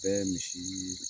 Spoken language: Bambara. Bɛ misi